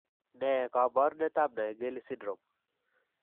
Ne kaabarunetap Naegeli syndrome?